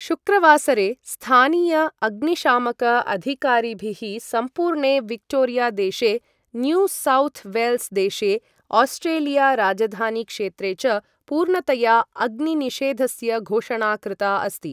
शुक्रवासरे स्थानीय अग्निशामक अधिकारिभिः सम्पूर्णे विक्टोरिया देशे, न्यू सौथ् वेल्स् देशे, ओस्ट्रेलिया राजधानी क्षेत्रे च पूर्णतया अग्नि निषेधस्य घोषणा कृता अस्ति।